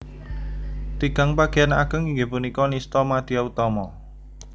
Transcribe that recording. Tigang bageyan ageng inggih punika nistha madya utama